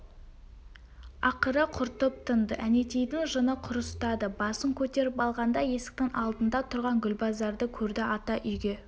ақыры құртып тынды әнетейдің жыны құрыстады басын көтеріп алғанда есіктің алдында тұрған гүлбазарды көрді ата үйге